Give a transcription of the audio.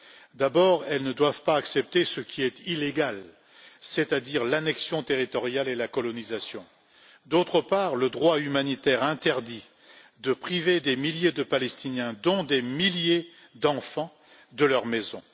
D'une part, elles ne doivent pas accepter ce qui est illégal, c'est à dire l'annexion territoriale et la colonisation, et, d'autre part, le droit humanitaire interdit de priver des milliers de Palestiniens, dont des milliers d'enfants, de leur maison.